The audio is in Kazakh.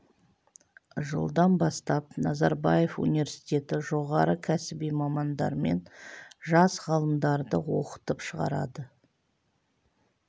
жылдан бастап назарбаев университеті жоғары кәсіби мамандар мен жас ғалымдарды оқытып шығарады